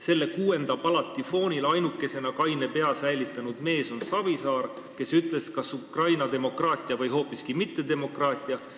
Selle kuuenda palati foonil ainukesena kaine pea säilitanud mees on Savisaar, kes ütles, kas Ukraina demokraatia või hoopiski mittedemokraatia.